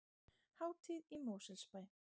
Hátíð í Mosfellsbæ